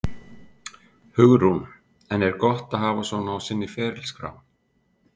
Hugrún: En er gott að hafa svona á sinni ferilskrá?